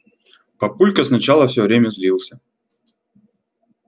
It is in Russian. папулька сначала всё время злился